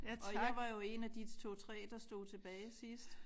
Og jeg var jo 1 af de 2 3 der stod tilbage sidst